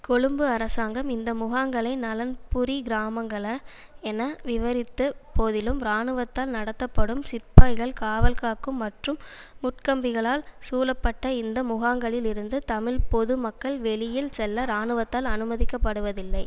கொழும்பு அரசாங்கம் இந்த முகாங்களை நலன்புரி கிராமங்கள என விவரித்த போதிலும் இராணுவத்தால் நடத்தப்படும் சிப்பாய்கள் காவல்காக்கும் மற்றும் முட்கம்பிகளால் சூழப்பட்ட இந்த முகாங்களில் இருந்து தமிழ் பொது மக்கள் வெளியில் செல்ல இராணுவத்தால் அனுமதிக்கப்படுவதில்லை